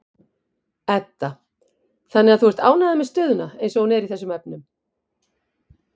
Edda: Þannig að þú ert ánægður með stöðuna eins og hún er í þessum efnum?